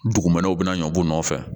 Dugumɛnɛw bɛna ɲɔnfɛ